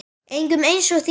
Engum eins og þér.